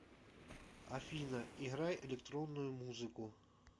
афина играй электронную музыку